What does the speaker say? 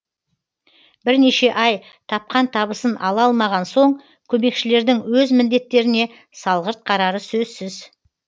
бірнеше ай тапқан табысын ала алмаған соң көмекшілердің өз міндеттеріне салғырт қарары сөзсіз